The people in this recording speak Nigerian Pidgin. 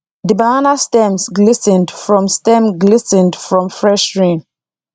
the banana stems glis ten ed from stems glis ten ed from fresh rain